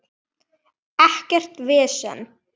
Ekkert vesen!